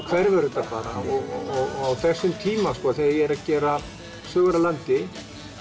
hverfur þetta bara á þessum tíma þegar ég er að gera sögur af landi